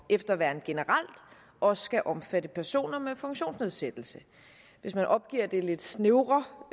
efterværn generelt også skal omfatte personer med funktionsnedsættelser hvis man opgiver det lidt snævre